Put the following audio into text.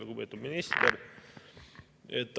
Lugupeetud minister!